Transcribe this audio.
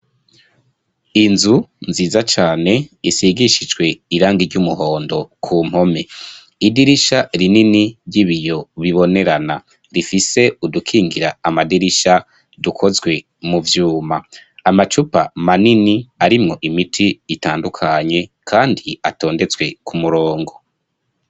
Inzu nziza cane isigishijwe irangi ry'umuhondo ku mpome. Idirisha rinini ry'ibiyo bibonerana rifise udukingira amadirisha dukozwe mu vyuma. Amacupa manini arimwo imiti itandukanye kandi atondetswe ku murongo.